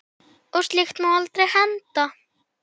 Og slíkt má aldrei henda.